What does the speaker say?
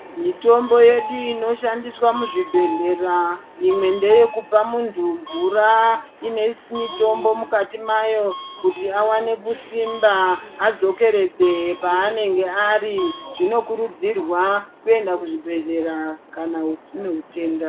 Mitombo yedu inoshandiswa muzvibhedhlera, imwe ndeyekupa muntu mvura inemitombo mukati mayo kuti awane kusimba adzokeredze paanenge ari. Zvinokuridzirwa kuend kuzvibhedhlera kana une utenda.